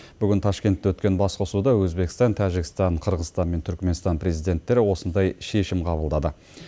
бүгін ташкентте өткен басқосуда өзбекстан тәжікстан қырғызстан мен түркіменстан президенттері осындай шешім қабылдады